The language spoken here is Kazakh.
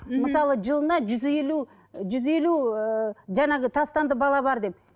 мхм мысалы жылына жүз елу жүз елу ыыы жаңағы тастанды бала бар деп